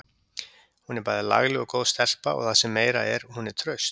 Hún er bæði lagleg og góð stelpa og það sem meira er: Hún er traust.